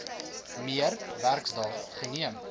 meer werksdae neem